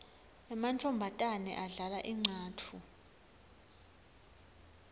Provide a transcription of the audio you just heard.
emantfombatane adlala incatfu